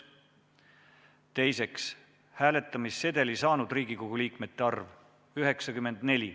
Teiseks, hääletamissedeli saanud liikmete arv – 94.